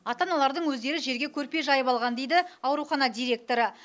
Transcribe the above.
ата аналардың өздері жерге көрпе жайып алған дейді аурухана директоры